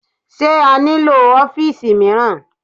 Sé a nílò ọ́fìsì mìíràn?